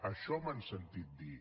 això m’han sentit dir